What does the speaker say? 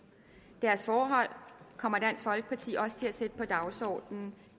deres forhold kommer dansk folkeparti også til at sætte på dagsordenen